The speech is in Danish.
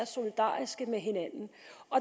solidariske med hinanden